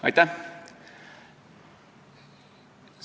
Aitäh!